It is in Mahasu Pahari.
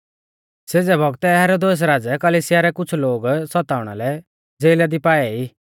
सेज़ै बौगतै हेरोदेस राज़ै कलिसिया रै कुछ़ लोगु सताउणा लै ज़ेला दी पाऐ ई